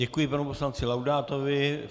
Děkuji panu poslanci Laudátovi.